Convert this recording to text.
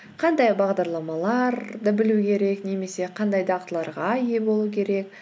қандай бағдарламаларды білу керек немесе қандай дағдыларға ие болу керек